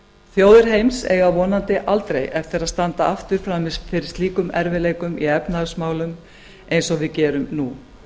þjóðir heims eiga vonandi aldrei eftir að standa aftur frammi fyrir slíkum erfiðleikum í efnahagsmálum eins og við gerum nú